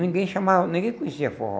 Ninguém chamava, ninguém conhecia forró.